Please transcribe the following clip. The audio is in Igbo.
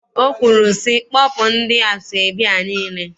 O kwuru sị, kpọpụ ndị asọebi a niile?